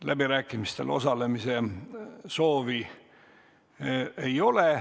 Läbirääkimistel osalemise soovi ei ole.